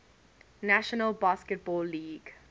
national basketball league